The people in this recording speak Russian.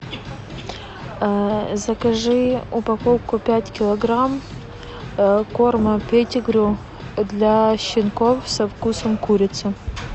закажи упаковку пять килограмм корма петигрю для щенков со вкусом курицы